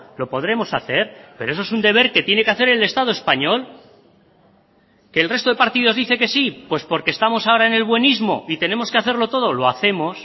lo podremos hacer pero eso es un deber que tiene que hacer el estado español que el resto de partidos dice que sí pues porque estamos ahora en el buenismo y tenemos que hacerlo todo lo hacemos